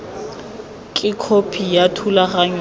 ke khopi ya thulaganyo ya